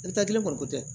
kelen kɔni ko tɛ